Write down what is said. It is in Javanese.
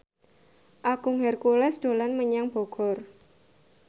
Agung Hercules dolan menyang Bogor